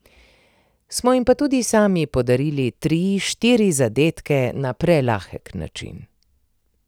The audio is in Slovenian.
Smo jim pa tudi sami podarili tri, štiri zadetke na prelahek način.